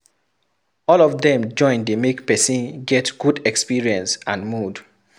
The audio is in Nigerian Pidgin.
All of them join de make persin get good experience and mood